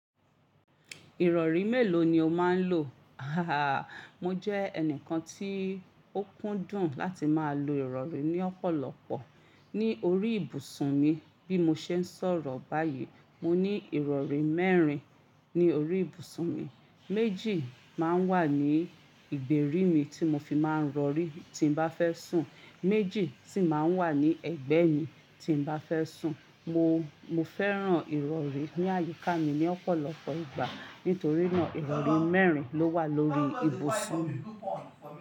Ìrọ̀rí mélòó ni o máa ń lò? Mo jẹ́ ẹnìkan tí ó kúndùn láti máa lo ìrọ̀rí ní ọ̀pọ̀lọpọ̀ ní orí ìbùsùn mi. Bí mo ṣe ń sọ̀rọ̀ báyìí, mo ní ìrọ̀rí mẹ́rin ní orí ìbùsùn mi. Méjì máa ń wà ní ìgbèrí mi tí mo fi máa ń rọ̀rí tí n bá fẹ́ sùn, méjì sì máa ń wà ní ẹ̀gbẹ́ mi tí n bá fẹ́ sùn. Mo, mo fẹ́ràn ìrọ̀rí ní àyíká mi ní ọ̀pọ̀lọpọ̀ ìgbà. Nítorí náà ìrọ̀rí mẹ́rin ló wà lórí ìbùsùn mi.